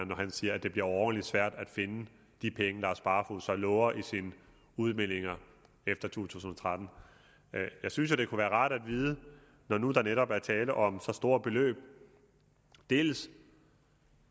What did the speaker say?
når han siger at det bliver overordentligt svært at finde de penge lars barfoed så lover i sine udmeldinger efter to tusind og tretten jeg synes jo det kunne være rart at vide når nu der netop er tale om så store beløb dels